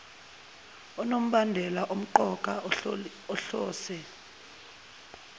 onombandela omqoka ohlose